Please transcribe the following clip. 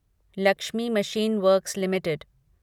Lakshmi machine works limited